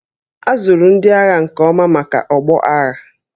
A zụrụ ndị agha nke ọma maka ọgbọ agha